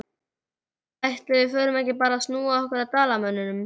Ætli við förum ekki bara að snúa okkur að Dalamönnum?